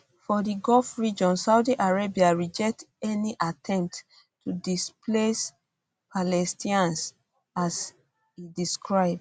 for di gulf region saudi arabia reject any attempts to displace palestinians as e describe